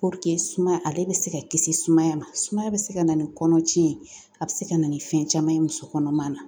sumaya ale bɛ se ka kisi sumaya ma, sumaya bɛ se ka na ni kɔnɔ cɛn ye, a bɛ se ka na ni fɛn caman ye muso kɔnɔma na .